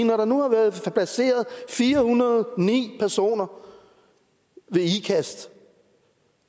når der nu har været placeret fire hundrede og ni personer ved ikast